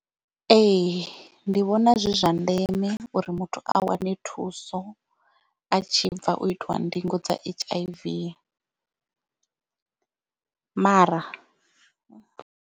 Ee ndi vhona zwi zwa ndeme uri muthu a wane thuso a tshi bva u itiwa ndingo dza h.i.v mara.